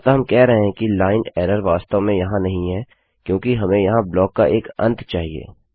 अतः हम कह रहे हैं कि लाइन एरर वास्तव में यहाँ नहीं है क्योंकि हमें यहाँ ब्लॉक का एक अंत चाहिए